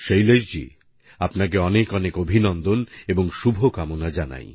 শৈলেশজী আপনাকে অনেক অনেক অভিনন্দন এবং শুভকামনা জানাই